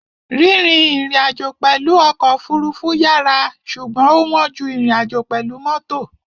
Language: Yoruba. Rírìn ìrìnàjò pẹ̀lú ọkọ̀ òfurufú yàrá ṣùgbọ́n ó wọ́n ju ìrìnàjò pẹ̀lú mọ́tò.